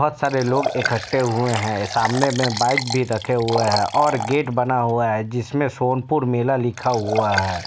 बहोत सारे लोग इकट्ठे हुए हैं| सामने में बाइक भी रखे हुए हैं और गेट बना हुआ है जिसमें सोनपुर मेला लिखा हुआ है।